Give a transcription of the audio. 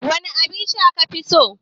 Wane abinsha kafi so?